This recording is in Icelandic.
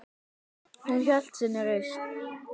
Hún hélt sinni reisn.